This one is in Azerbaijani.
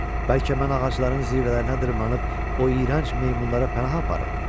Bəlkə mən ağacların zirvələrinə dırmaşıb o iyrənc meymunlara pənah aparım?